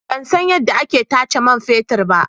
Ban san yadda ake tace man fetur ba.